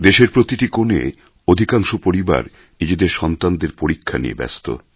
দেশের প্রতিটি কোণে অধিকাংশ পরিবার নিজেদের সন্তানদের পরীক্ষা নিয়ে ব্যস্ত